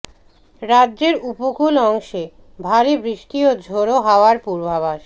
রাজ্যের উপকূল অংশে ভারী বৃষ্টি ও ঝোড়ো হাওয়ার পূর্বাভাস